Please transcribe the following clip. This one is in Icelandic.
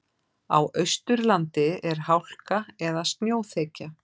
Á Austurlandi er hálka eða snjóþekja